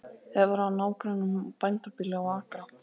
Hefur að nágrönnum bændabýli og akra.